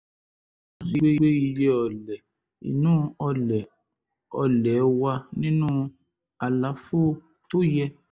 èyí túmọ̀ sí pé iye ọlẹ̀ inú ọlẹ̀ ọlẹ̀ wà nínú àlàfo tó yẹ